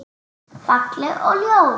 Falleg og ljót.